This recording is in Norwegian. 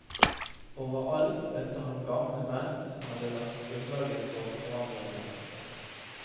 Overalt møtte han gamle menn som hadde lagt grunnlaget for forandringen.